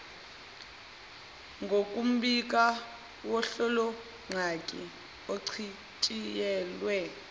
ngokombiko wohlolongqangi ochitshiyelwe